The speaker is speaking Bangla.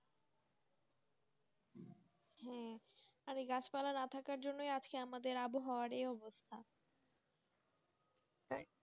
হ্যাঁ গাছপালা না থাকার কারণেই আজকে আমাদের আবহাওয়া এই অবস্থা,